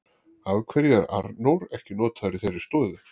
Af hverju er Arnór ekki notaður í þeirri stöðu?